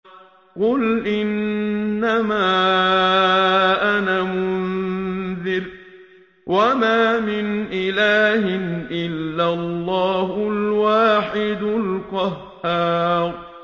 قُلْ إِنَّمَا أَنَا مُنذِرٌ ۖ وَمَا مِنْ إِلَٰهٍ إِلَّا اللَّهُ الْوَاحِدُ الْقَهَّارُ